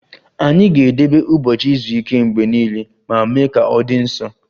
Anyị ga-edebe ụbọchị izu ike mgbe niile ma mee ka ọ dị nsọ